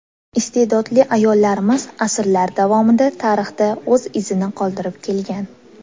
Iste’dodli ayollarimiz asrlar davomida tarixda o‘z izini qoldirib kelgan.